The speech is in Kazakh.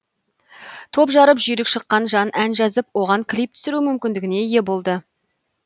топ жарып жүйрік шыққан жан ән жазып оған клип түсіру мүмкіндігіне ие болды